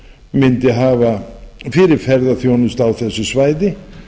mundi hafa fyrir ferðaþjónustu á þessu svæði